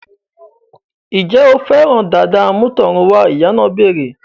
Ǹjẹ́ o fẹ́ràn dàda àmútọ̀runwá? Ìyá náà béèrè